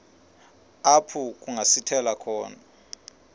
apho kungasithela khona